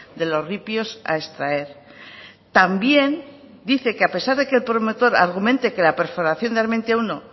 de los ripios a extraer también dice que a pesar de que el promotor argumente que la perforación de armentia uno